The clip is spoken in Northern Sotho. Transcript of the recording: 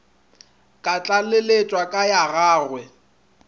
ka tlaleletša ka ya gagwe